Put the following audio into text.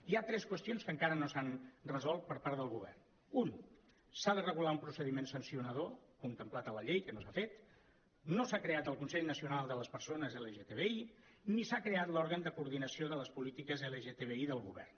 hi ha tres qüestions que encara no s’han resolt per part del govern una s’ha de regular un procediment sancionador contemplat a la llei que no s’ha fet no s’ha creat el consell nacional de les persones lgtbi ni s’ha creat l’òrgan de coordinació de les polítiques lgtbi del govern